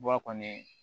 Bɔ a kɔni